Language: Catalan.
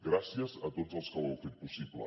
gràcies a tots els que ho heu fet possible